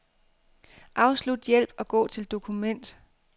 Afslut hjælp og gå til dokument.